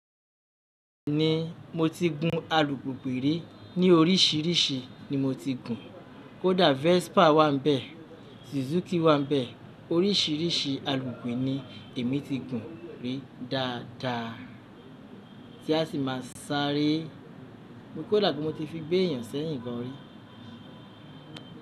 Ni, mo ti gun alùpùpù rí ní oríṣìíríṣìí ni mo ti gùn. Kódà Vespa wà níbẹ̀, Suzuki wà níbẹ̀, oríṣìíríṣìí alùpùpù ni èmi ti gùn rí dáadáa tí a sì máa sárée kódà gan mo ti fi gbé èèyàn si ẹ́yìn gan rí.